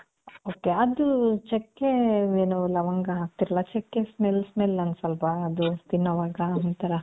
ok ಅದು ಚೆಕ್ಕೆ ಏನು ಲವಂಗ ಹಕ್ತಿರ ಅಲ್ಲ, ಚೆಕ್ಕೆ smell smell ಅನ್ಸಲ್ವಾ ಅದು ತಿನ್ನೋವಾಗ ಒಂಥರ?